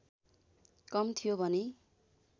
कम थियो भने